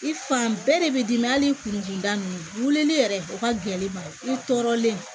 I fan bɛɛ de bɛ dimi hali kunda ninnu weleli yɛrɛ o ka gɛlɛn ma i tɔɔrɔlen